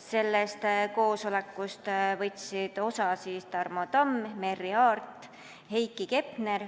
Sellest koosolekust võtsid osa Tarmo Tamm, Merry Aart, Heiki Hepner,